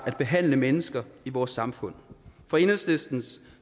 at behandle mennesker i vores samfund fra enhedslistens